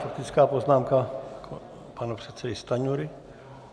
Faktická poznámka pana předsedy Stanjury.